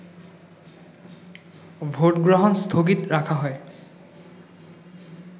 ভোটগ্রহণ স্থগিত রাখা হয়